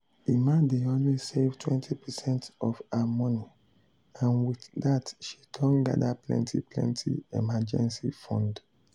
emma dey always save 20 percent of her money and with that she don gather plenty plenty emergency fund.